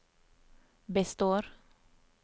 består